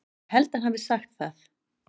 Ég held hann hafi sagt það.